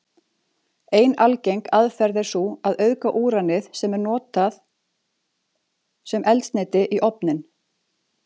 Ein algeng aðferð er sú að auðga úranið sem er notað sem eldsneyti í ofninn.